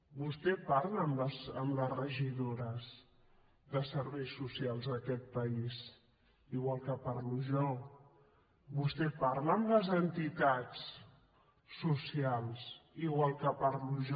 vostè parla amb les regidores de serveis socials d’aquest país igual que parlo jo vostè parla amb les entitats socials igual que parlo jo